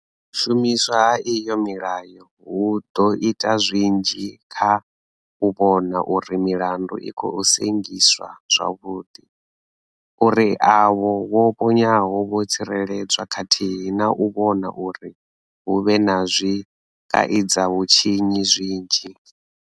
U shumiswa ha iyo milayo hu ḓo ita zwinzhi kha u vhona uri milandu i khou sengiswa zwavhuḓi, uri avho vho ponyaho vho tsireledzwa khathihi na u vhona uri hu vhe na zwikaidzavhutshinyi zwinzhi.